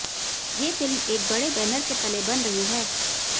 ये फिल्म एक बड़े बैनर के तले बन रही है